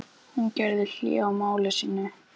Hún gerði hlé á máli sínu.